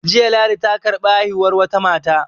Jiya ladi ta karɓi haihuwar wata mata